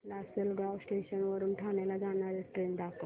Lasalgaon station वरून ठाण्याला जाणारी ट्रेन दाखव